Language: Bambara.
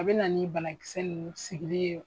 A bena ni banakisɛ ninnu sigili ye